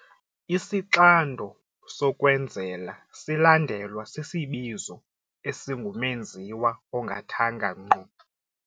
Isixando sokwenzela silandelwa sisibizo esingumenziwa ongathanga ngqo.